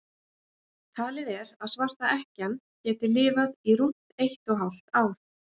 talið er að svarta ekkjan geti lifað í rúmt eitt og hálft ár